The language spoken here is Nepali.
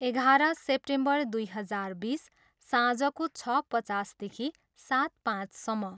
एघार सेप्टेम्बर दुई हजार बिस, साँझको छ पचासदेखि सात पाँचसम्म।